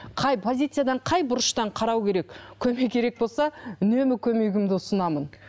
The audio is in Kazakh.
қай позициядан қай бұрыштан қарау керек көмек керек болса үнемі көмегімді ұсынамын